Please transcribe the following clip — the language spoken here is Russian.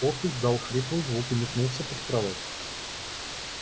кот издал хриплый звук и метнулся под кровать